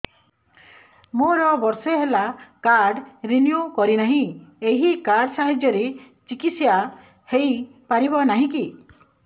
ମୋର ବର୍ଷେ ହେଲା କାର୍ଡ ରିନିଓ କରିନାହିଁ ଏହି କାର୍ଡ ସାହାଯ୍ୟରେ ଚିକିସୟା ହୈ ପାରିବନାହିଁ କି